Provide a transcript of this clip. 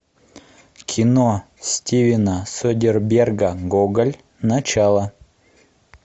кино стивена содерберга гоголь начало